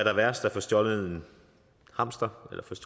er værst at få stjålet en hamster